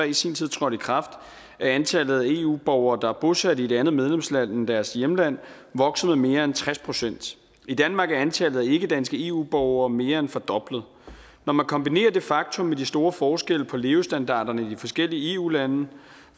i sin tid trådte i kraft er antallet af eu borgere der er bosat i et andet medlemsland end deres hjemland vokset med mere end tres procent i danmark er antallet af ikkedanske eu borgere mere end fordoblet når man kombinerer det faktum med de store forskelle på levestandarderne i de forskellige eu lande